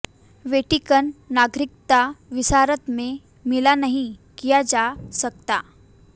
Vatican नागरिकता विरासत में मिला नहीं किया जा सकता